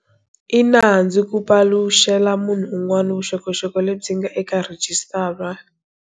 I nandzu ku paluxela munhu un'wana vuxokoxoko lebyi nga eka rhijisitara.